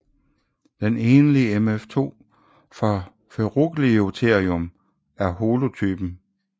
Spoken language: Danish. Den enlige mf2 fra Ferugliotherium er holotypen